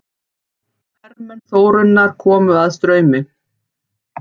Hermenn Þórunnar komu að Straumi.